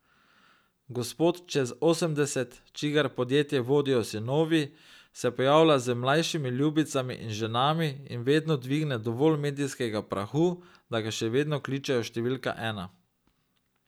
Gospod čez osemdeset, čigar podjetja vodijo sinovi, se pojavlja z mlajšimi ljubicami in ženami in vedno dvigne dovolj medijskega prahu, da ga še vedno kličejo številka ena.